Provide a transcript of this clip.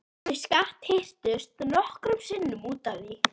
Þau skattyrtust nokkrum sinnum út af því.